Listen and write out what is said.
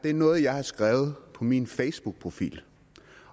er noget jeg har skrevet på min facebookprofil